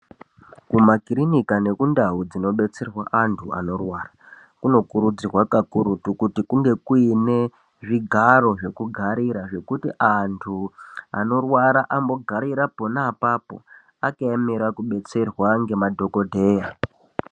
Kuma kirinika nekundau dzino betserwa antu anorwara, kuno kurudzirwa kakurutu kuti kunge kuine zvigaro zvekugarira, zvekuti antu anorwara ambogarira pona apapo, akaemera kubetserwa ngema dhokodheya.